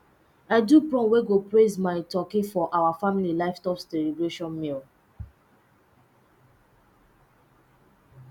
i do prom wey go praise my turkey for our family livestock celebration meal